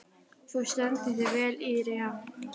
Þú stendur þig vel, Irja!